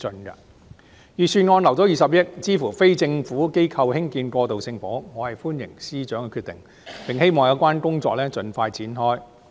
預算案預留20億元，支持非政府機構興建過渡性房屋，我歡迎司長的決定，並希望有關工作盡快展開。